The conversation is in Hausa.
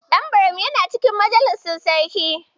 Dan Buram yana cikin majalisar sarki.